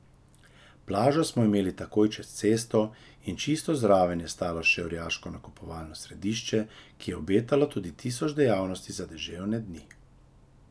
Plažo smo imeli takoj čez cesto in čisto zraven je stalo še orjaško nakupovalno središče, ki je obetalo tisoč dejavnosti za deževne dni.